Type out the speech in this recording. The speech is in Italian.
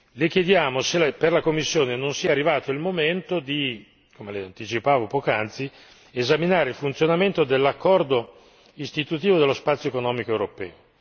Le chiediamo se, per la Commissione, non sia arrivato il momento di come le anticipavo poc'anzi esaminare il funzionamento dell'accordo istitutivo dello spazio economico europeo.